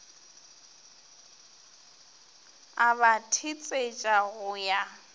a ba thetsetša go ya